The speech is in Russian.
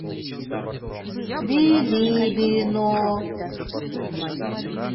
билибино